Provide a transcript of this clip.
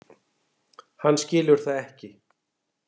Hann skilur það ekki.